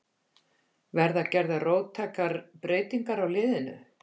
Verða gerðar róttækar breytingar á liðinu?